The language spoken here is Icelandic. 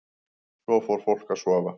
Svo fór fólk að sofa.